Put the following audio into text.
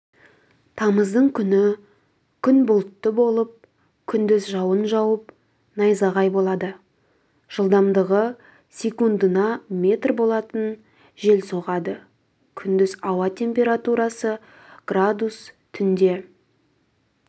тамыздың күні күн бұлтты болып күндіз жауын жауып найзағай болады жылдамдығы секундына метр болатын жел соғады күндіз ауа температурасы градус түнде